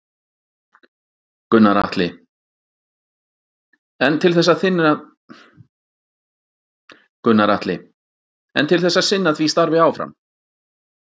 Gunnar Atli: En til þess að sinna því starfi áfram?